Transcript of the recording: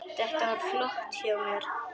Þetta var flott hjá mér.